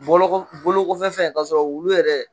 bɔlɔkɔ bolokɔfɛ fɛn kasɔrɔ wulu yɛrɛ